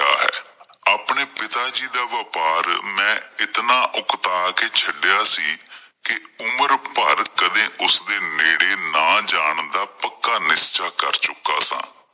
ਆਪਣੇ ਪਿਤਾ ਜੀ ਦਾ ਵਪਾਰ ਮੈਂ ਇਤਨਾ ਉਕਤਾਂਹ ਕਿ ਛੱਡਿਆ ਸੀ ਕਿ ਉਮਰ ਭਰ ਕਦੇ ਉਸ ਦੇ ਨੇੜੇ ਨਾ ਜਾਣ ਦਾ ਪੱਕਾ ਨਿਸ਼ਚਾ ਕਰ ਚੁੱਕਾ ਸਾਂ ।